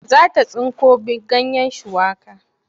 Za ta tsinko ganyen shuwaka.